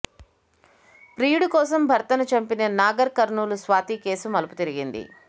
ప్రియుడి కోసం భర్తను చంపిన నాగర్ కర్నూలు స్వాతి కేసు మలుపు తిరిగింది